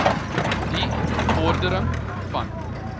die bevordering van